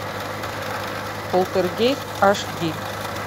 полтергейст аш ди